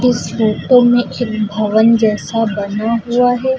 Photo में एक भवन जैसा बना हुआ है।